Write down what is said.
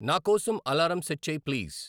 నా కోసం alarm set చేయి ప్లీజ్